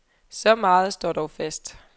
Så meget står dog fast.